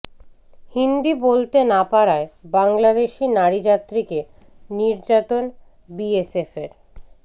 হিন্দি বলতে না পারায় বাংলাদেশি নারী যাত্রীকে নির্যাতন বিএসএফের